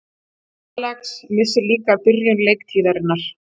Alex missir líka af byrjun leiktíðarinnar